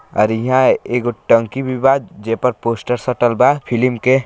और हीया एगो टंकी भी बा जे पर पोस्टर सटल बा फिलिम के।